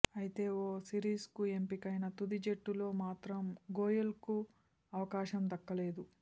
అయితే ఓ సిరీస్కు ఎంపికైనా తుది జట్టులో మాత్రం గోయెల్కు అవకాశం దక్కలేదు